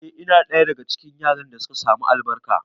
A'a, ina ɗaya daga cikin yaran da suka samu albarka